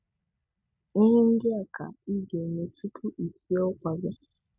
Ihe ndị a ka ị ga-eme tupu i sie ụkwa gị